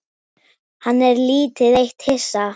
Hann er lítið eitt hissa.